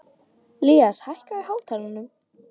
Ilías, hækkaðu í hátalaranum.